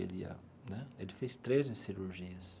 Ele ia né ele fez treze cirurgias.